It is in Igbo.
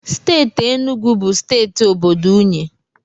Steeti Enugu bụ steeti obodo unyi.